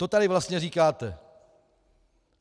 To tady vlastně říkáte.